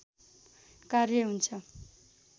कार्य हुन्छ